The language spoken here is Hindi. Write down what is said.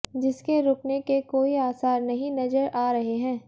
जिसके रुकने के कोई आसार नहीं नजर आ रहे हैं